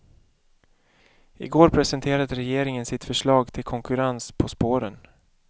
I går presenterade regeringen sitt förslag till konkurrens på spåren.